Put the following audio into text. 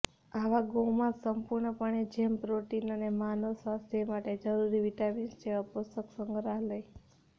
આવા ગોમાંસ સંપૂર્ણપણે જેમ પ્રોટીન અને માનવ સ્વાસ્થ્ય માટે જરૂરી વિટામીન જેવા પોષક સંગ્રહાય